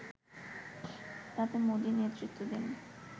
তাতে মোদি নেতৃত্ব দেন